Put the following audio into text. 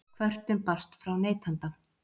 Kvörtun barst frá neytanda